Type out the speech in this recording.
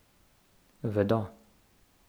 Vedo.